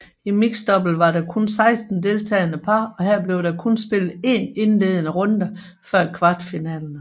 I mixdouble var der kun 16 deltagende par og her blev der kun spillet 1 indledende runder før kvartfinalerne